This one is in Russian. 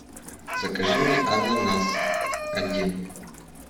закажи мне ананас один